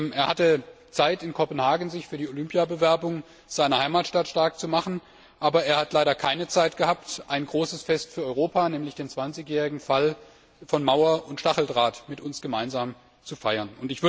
Er hatte Zeit, sich in Kopenhagen für die Olympiabewerbung seiner Heimatstadt stark zu machen, aber er hat leider keine Zeit gehabt, ein großes Fest für Europa, nämlich den 20 jährigen Fall von Mauer und Stacheldraht, mit uns gemeinsam zu feiern.